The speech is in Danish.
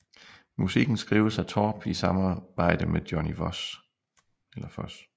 Musikken skrives af Torp i samarbejde med Johnny Voss